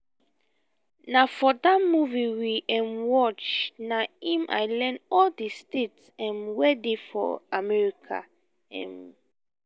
na for dat movie we um watch na im i iearn all the states um wey dey for america um